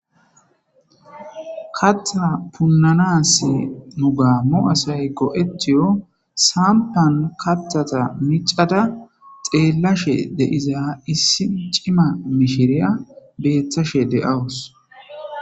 kattha punnanas nu gaammu asay go7etiyo sampan kattata micada xeellashe deiza issi cima mishiriya beethashe de7awus